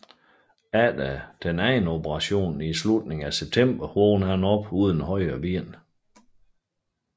Efter den anden operation i slutningen af september vågner han op uden højre ben